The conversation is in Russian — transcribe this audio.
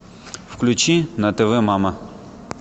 включи на тв мама